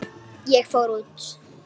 Ég fór út.